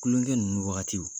Kulonkɛ ninnu wagatiw